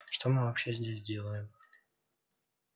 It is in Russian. что мы вообще здесь делаем